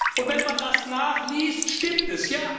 Und wenn man das nachliest, stimmt es.